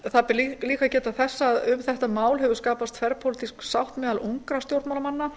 það ber líka að geta þess að um þetta mál hefur skapast þverpólitísk sátt meðal ungra stjórnmálamanna